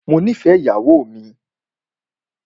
Mó nìfẹ ìyàwó mi.